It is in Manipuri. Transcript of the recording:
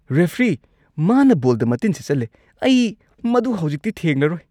ꯔꯦꯐ꯭ꯔꯤ, ꯃꯥꯅ ꯕꯣꯜꯗ ꯃꯇꯤꯟ ꯁꯤꯠꯆꯜꯂꯦ꯫ ꯑꯩ ꯃꯗꯨ ꯍꯧꯖꯤꯛꯇꯤ ꯊꯦꯡꯂꯔꯣꯏ ꯫